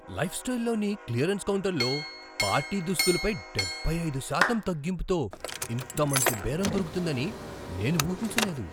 లైఫ్స్టైల్లోని clearance కౌంటర్లో party దుస్తులపై డెబ్బై ఐదు శాతం తగ్గింపుతో ఇంత మంచి బేరం దొరుకుతుందని నేను ఊహించలేదు.